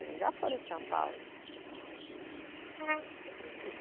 Eles já foram em São Paulo. Hum, se apresentar?